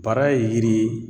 Bara ye yiri ye